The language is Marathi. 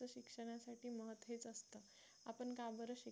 आपण का बरं शिकतो